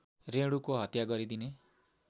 रेणुको हत्या गरिदिने